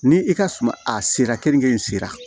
Ni i ka suma a sera keninge in sera